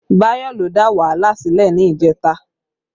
Bayo ló dà wàhálà sílẹ̀ ni ìjẹta